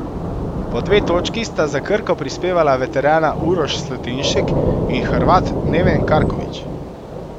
Po dve točki sta za Krko prispevala veterana Uroš Slatinšek in Hrvat Neven Karković.